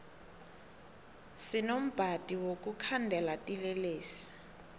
sinombadi wokukhandela tinlelesi